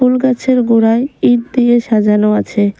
ফুল গাছের গোড়ায় ইট দিয়ে সাজানো আছে।